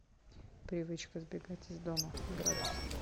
привычка сбегать из дома градусы